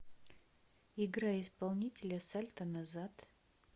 играй исполнителя сальто назад